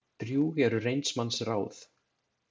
Drjúg eru reynds manns ráð.